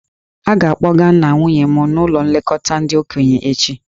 A ga-akpọga nna nwunye m n'ụlọ nlekọta ndị okenye echi.